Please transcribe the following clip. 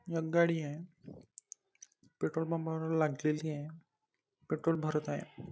एक गाडी आहे पेट्रोल पंपा वर लागलेली आहे पेट्रोल भरत आहे.